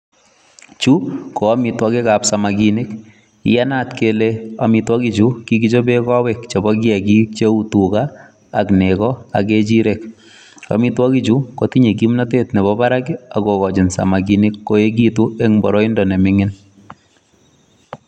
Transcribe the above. Chu koamitwogikab samakinik, iyenat kele amitwogichu kokigichoben kowek chebo kiyakikcheu tuga ak nego ak kechirek. Amitwogichu kotinye kimnatet nebo barak ak kogochi samakinik koegitun en boroindo neming'in.